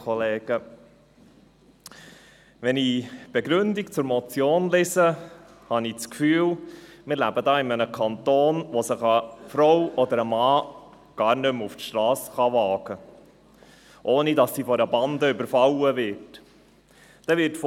Wenn ich die Begründung zur Motion lese, habe ich das Gefühl, wir würden in einem Kanton leben, in dem sich eine Frau oder ein Mann gar nicht mehr auf die Strasse wagen darf, ohne von einer Bande überfallen zu werden.